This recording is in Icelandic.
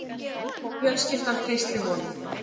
Og fjölskyldan treysti honum